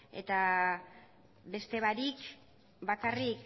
eta beste barik bakarrik